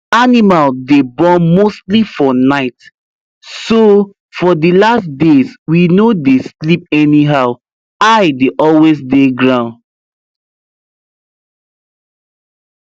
animal day born mostly for nightso for the last days we no day sleep anyhow eye day always day ground